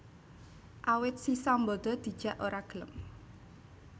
Awit si Sambada dijak ora gelem